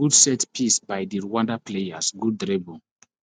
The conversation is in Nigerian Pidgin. gud set piece by di rwanda players gud dribble